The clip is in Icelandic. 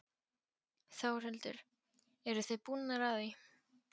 Þórhildur: Eruð þið búnar að því?